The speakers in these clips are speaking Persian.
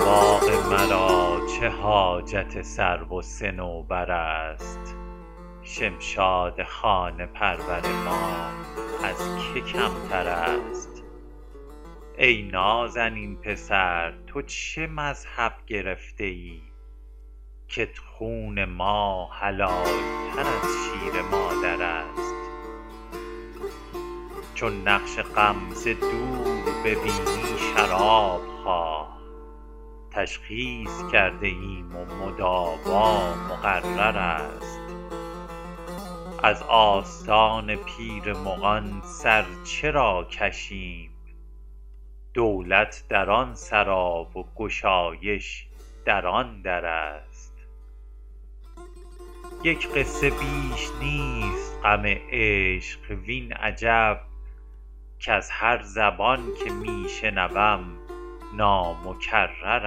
باغ مرا چه حاجت سرو و صنوبر است شمشاد خانه پرور ما از که کمتر است ای نازنین پسر تو چه مذهب گرفته ای کت خون ما حلال تر از شیر مادر است چون نقش غم ز دور ببینی شراب خواه تشخیص کرده ایم و مداوا مقرر است از آستان پیر مغان سر چرا کشیم دولت در آن سرا و گشایش در آن در است یک قصه بیش نیست غم عشق وین عجب کز هر زبان که می شنوم نامکرر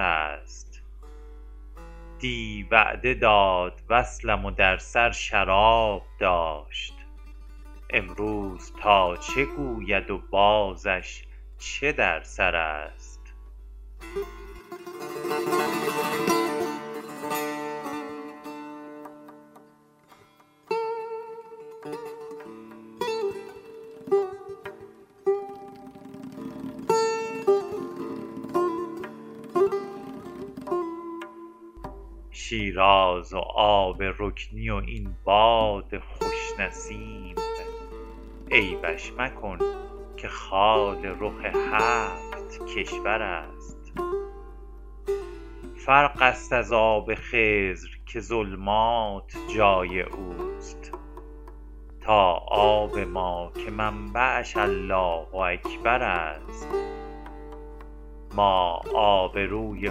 است دی وعده داد وصلم و در سر شراب داشت امروز تا چه گوید و بازش چه در سر است شیراز و آب رکنی و این باد خوش نسیم عیبش مکن که خال رخ هفت کشور است فرق است از آب خضر که ظلمات جای او است تا آب ما که منبعش الله اکبر است ما آبروی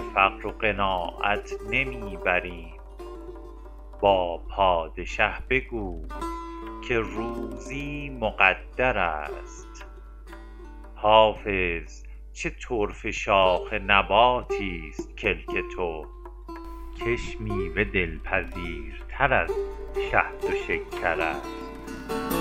فقر و قناعت نمی بریم با پادشه بگوی که روزی مقدر است حافظ چه طرفه شاخ نباتیست کلک تو کش میوه دلپذیرتر از شهد و شکر است